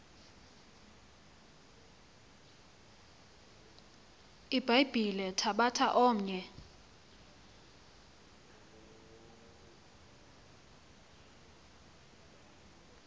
ibhayibhile thabatha omnye